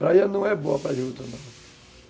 Praia não é boa para juta, não.